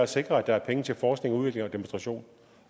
sikre at der er penge til forskning udvikling og demonstration